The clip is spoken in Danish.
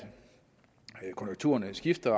konjunkturerne skifter